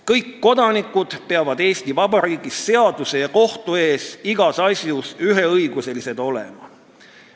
Kõik kodanikud peavad Eesti vabariigis seaduse ja kohtu ees igas asjas üheõiguslised olema.